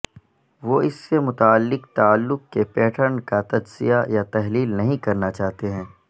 وہ اس سے متعلق تعلق کے پیٹرن کا تجزیہ یا تحلیل نہیں کرنا چاہتے ہیں